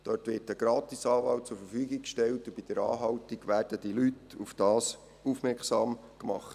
Dort wird ein Gratis-Anwalt zur Verfügung gestellt, und bei der Anhaltung werden die Leute darauf aufmerksam gemacht.